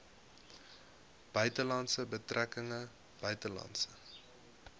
buitelandse betrekkinge buitelandse